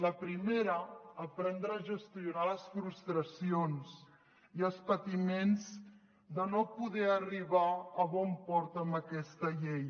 la primera aprendre a gestionar les frustracions i els patiments de no poder arribar a bon port amb aquesta llei